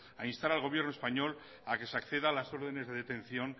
a instar al gobierno español a que se acceda a las órdenes de detención